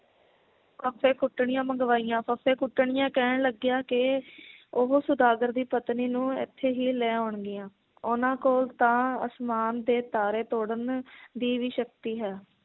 ਫੱਫੇ ਕੁੱਟਣੀਆਂ ਮੰਗਵਾਈਆਂ ਫੱਫੇ ਕੁਟਣੀਆਂ ਕਹਿਣ ਲੱਗੀਆਂ ਕਿ ਉਹ ਸੌਦਾਗਰ ਦੀ ਪਤਨੀ ਨੂੰ ਇਥੇ ਹੀ ਲੈ ਆਉਣਗੀਆਂ, ਉਹਨਾਂ ਕੋਲ ਤਾਂ ਅਸਮਾਨ ਦੇ ਤਾਰੇ ਤੋੜਨ ਦੀ ਵੀ ਸ਼ਕਤੀ ਹੈ